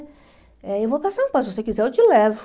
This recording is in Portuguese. Eh eu vou para São Paulo, se você quiser eu te levo.